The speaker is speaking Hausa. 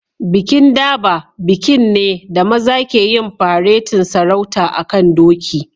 Bikin Durbar bikin ne da maza ke yin faretin sarauta a'kan doki.